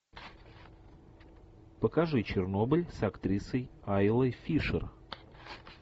покажи чернобыль с актрисой айлой фишер